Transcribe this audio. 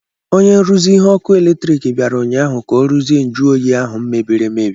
Onye nruzi ihe ọkụ eletrik bịara ụnyaahụ ka ọ rụzie njụ oyi ahụ mebiri emebi.